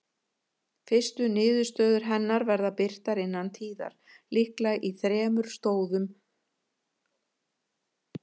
Fyrstu niðurstöður hennar verða birtar innan tíðar, líklega í þremur stórum tíðabindum.